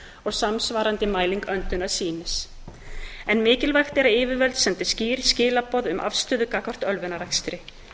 og samsvarandi mæling öndunarsýnis mikilvægt er að yfirvöld sendi skýr skilaboð um afstöðu gagnvart ölvunarakstri